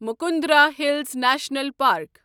Mukundra hills national park